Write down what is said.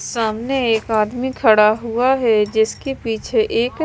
सामने एक आदमी खड़ा हुआ है जिसके पीछे एक--